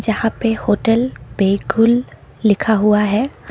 यहां पर होटल बेकुल लिखा हुआ है।